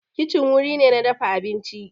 Kicin wuri ne na dafa abinci